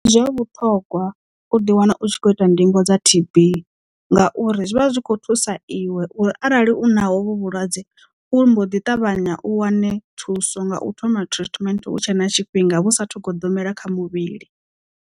Ndi zwa vhuṱhogwa u ḓi wana u tshi kho ita ndingo dza T_B ngauri zwivha zwikho thusa iwe uri arali u naho vho vhulwadze u mbo ḓi ṱavhanya u wane thuso nga u thoma treatment hutshe na tshifhinga vhu sathu goḓombela kha muvhili.